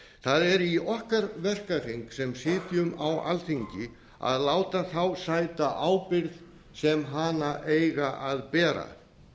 það er í okkar verkahring sem sitjum á alþingi að láta þá sæta ábyrgð sem hana eiga að bera